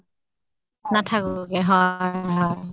নাথাককে, হয় হয়।